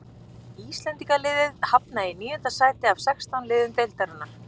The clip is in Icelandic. Íslendingaliðið hafnaði í níunda sæti af sextán liðum deildarinnar.